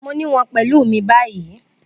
Mo ni wọn pẹlu mi bayi